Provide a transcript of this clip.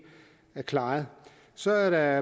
klaret så er der